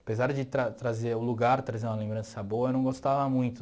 Apesar de tra trazer o lugar, trazer uma lembrança boa, eu não gostava muito.